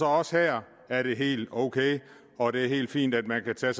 også her er det helt ok og det er helt fint at man kan tage